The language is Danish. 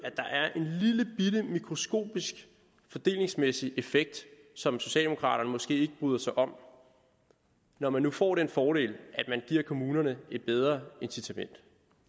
at mikroskopisk fordelingsmæssig effekt som socialdemokraterne måske ikke bryder sig om når man nu får den fordel at man giver kommunerne et bedre incitament